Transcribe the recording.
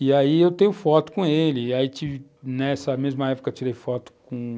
E aí eu tenho foto com ele, nessa mesma época tirei foto com